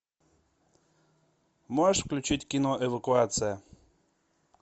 можешь включить кино эвакуация